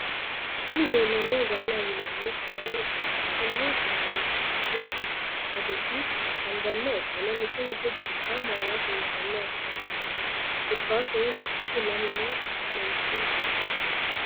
Kuni lelanohu galaaho yinanni sagale ikana konni galiitano adossi anganiha ikana mitto mitto darriga mallasi intana afamano korrikatuno lekassi lammewa fanaitino daffira.